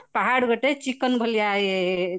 ପାହାଡ ଗୋଟେ chicken ଭଳିଆ ଏ